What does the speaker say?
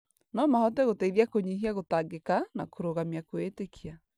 No mahote gũteithia kũnyihia gũtangĩka na kũrũgamia kwĩĩtĩkia